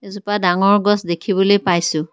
এজোপা ডাঙৰ গছ দেখিবলৈ পাইছোঁ।